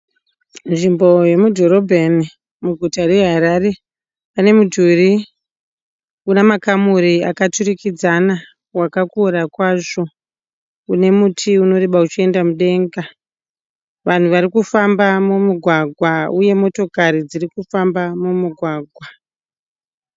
Nzvimbo yemudhorobheni muguta reHarare Pane mudhuri une makamuri akaturikidzana wakakura kwazvo. une muti unoreba uchienda mudenga. Vanhu varikufamba mumugwagwa uye motokari dziri kufamba mumugwagwa.